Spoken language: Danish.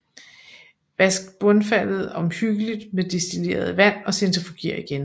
Vask bundfaldet omhyggeligt med destilleret vand og centrifuger igen